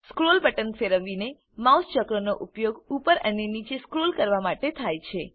scroll button ફેરવીને mouse ચક્રનો ઉપયોગ ઉપર અને નીચે સ્ક્રોલ કરવામાં થાય છે